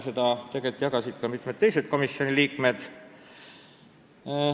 Seda arvamust jagasid mitmed teised komisjoni liikmed.